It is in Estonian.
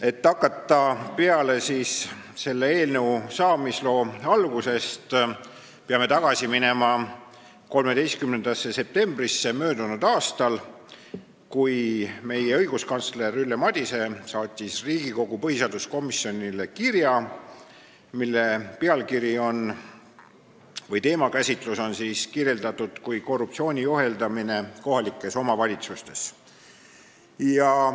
Et hakata peale selle eelnõu saamisloo algusest, peame tagasi minema 13. septembrisse möödunud aastal, kui õiguskantsler Ülle Madise saatis Riigikogu põhiseaduskomisjonile kirja, mille teemakäsitlust on kirjeldatud kui korruptsiooni ohjeldamist kohalikes omavalitsustes.